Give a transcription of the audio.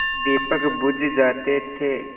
दीपक बुझ जाते थे